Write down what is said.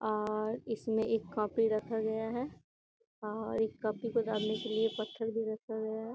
और इसमें एक कॉपी रखा गया है और इस कॉपी को डालने के लिए एक पत्थर भी रखा गया है।